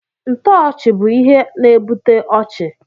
Ntoochi bụ ihe na ebute ọchị.